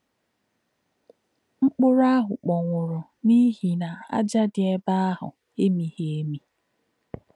Mkpụ̀rụ́ àhū̄ kpònwūrù̄ n’íhì̄ nà̄ ájá̄ dì̄ èbè̄ àhū̄ èmí̄ghí̄ èmí̄.